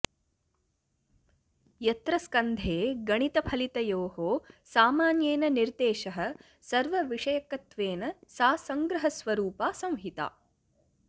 यत्र स्कन्धे गणितफलितयोः सामान्येन निर्देशः सर्व विषयकत्वेन सा सङ्ग्रहस्वरूपा संहिता